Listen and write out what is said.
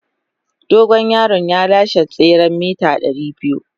Dogon yaron ya lashe tseren mita 200.